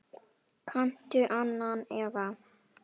Kanntu annan eða?